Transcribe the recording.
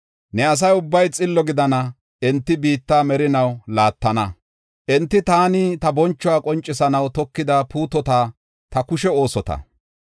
Ne asa ubbay xillo gidana; enti biitta merinaw laattana. Enti taani ta bonchuwa qoncisanaw tokida puutota; ta kushe oosota.